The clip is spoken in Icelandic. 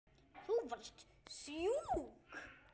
Þú varst sjúk.